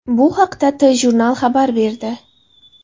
Bu haqda TJournal xabar berdi .